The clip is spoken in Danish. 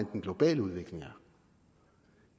og